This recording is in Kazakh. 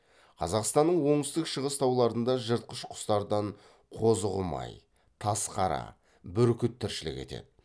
қазақстанның оңтүстік шығыс тауларында жыртқыш құстардан қозықұмай тазқара бүркіт тіршілік етеді